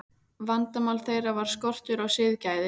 Vandamál þeirra var skortur á siðgæði.